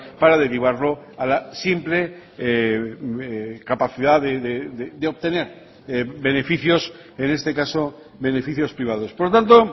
para derivarlo a la simple capacidad de obtener beneficios en este caso beneficios privados por lo tanto